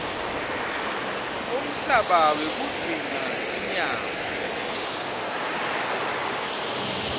umhlaba wekugcina tinyatsi